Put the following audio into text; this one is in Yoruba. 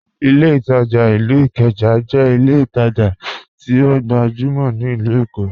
Ìlẹ̀ Itajà ilú Ìkéjà jẹ́ ìlẹ̀ ìtajà tí ọ gbajumọ̀ ni Ilù Èkó.